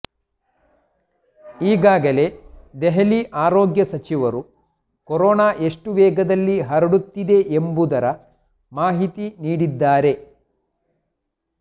ಈಗಾಗಲೇ ದೆಹಲಿ ಆರೋಗ್ಯ ಸಚಿವರು ಕೊರೋನಾ ಎಷ್ಟು ವೇಗದಲ್ಲಿ ಹರಡುತ್ತಿದೆ ಎಂಬುದರ ಮಾಹಿತಿ ನೀಡಿದ್ದಾರೆ